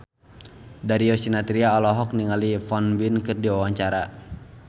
Darius Sinathrya olohok ningali Won Bin keur diwawancara